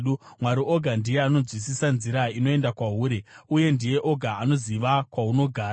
Mwari oga ndiye anonzwisisa nzira inoenda kwahuri, uye ndiye oga anoziva kwahunogara,